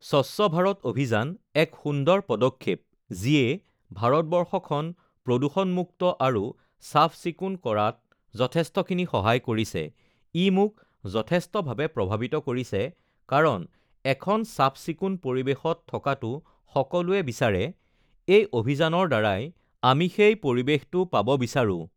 স্বচ্ছ ভাৰত অভিযান এক সুন্দৰ পদক্ষেপ যিয়ে ভাৰতবৰ্ষখন প্ৰদূষণমূক্ত আৰু চাফ-চিকুণ কৰাত যথেষ্টখিনি সহায় কৰিছে ই মোক যথেষ্টভাৱে প্ৰভাৱিত কৰিছে কাৰণ এখন চাফ-চিকুণ পৰিৱেশত থকাতো সকলোৱে বিচাৰে এই অভিযানৰ দ্বাৰাই আমি সেই পৰিৱেশটো পাব বিচাৰোঁ